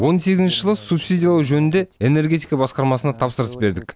он сегізінші жылы субсидиялау жөнінде энергетика басқармасына тапсырыс бердік